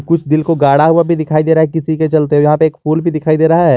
कुछ दिल को गढ़ा हुआ भी दिखाई दे रहा है किसी के चलते यहां पे एक फूल भी दिखाई दे रहा है।